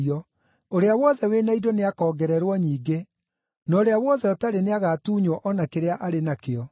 Ũrĩa wothe wĩ na indo nĩakongererwo nyingĩ; na ũrĩa wothe ũtarĩ nĩagatuunywo o na kĩrĩa arĩ nakĩo.”